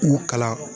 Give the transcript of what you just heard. U kalan